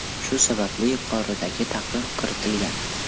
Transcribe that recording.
Shu sababli yuqoridagi taqiq kiritilgan.